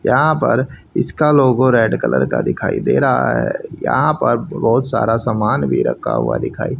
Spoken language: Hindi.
यहां पर इसका लोगो रेड कलर का दिखाई दे रहा है यहां पर बहुत सारा सामान भी रखा हुआ दिखाई--